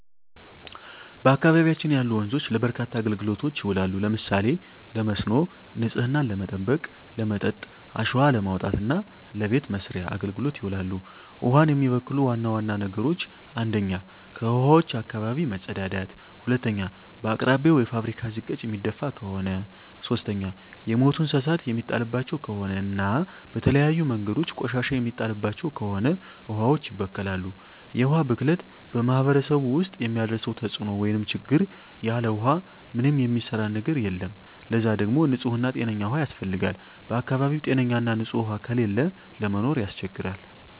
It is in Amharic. በአካባቢያችን ያሉ ወንዞች ለበርካታ አገልግሎቶች ይውላሉ። ለምሳሌ ለመስኖ፣ ንጽህናን ለመጠበቅ፣ ለመጠጥ፣ አሸዋ ለማውጣት እና ለበቤት መሥርያ አገልግሎት ይውላሉ። ውሀን የሚበክሉ ዋና ዋና ነገሮች 1ኛ ከውሀዋች አካባቢ መጸዳዳት መጸዳዳት 2ኛ በአቅራቢያው የፋብሪካ ዝቃጭ የሚደፍ ከሆነ ከሆነ 3ኛ የሞቱ እንስሳት የሚጣልባቸው ከሆነ እና በተለያዩ መንገዶች ቆሻሻ የሚጣልባቸው ከሆነ ውሀዋች ይበከላሉ። የውሀ ብክለት በማህረሰቡ ውስጥ የሚያደርሰው ተጽዕኖ (ችግር) ያለ ውሃ ምንም የሚሰራ ነገር የለም ለዛ ደግሞ ንጽህና ጤነኛ ውሃ ያስፈልጋል በአካባቢው ጤነኛ ና ንጽህ ውሃ ከሌለ ለመኖር ያስቸግራል።